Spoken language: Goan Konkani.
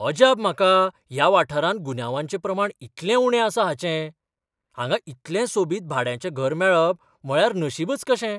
अजाप म्हाका ह्या वाठारांत गुन्यांवाचें प्रमाण इतलें उणें आसा हाचें ! हांगा इतलें सोबीत भाड्याचें घर मेळप म्हळ्यार नशिबच कशें.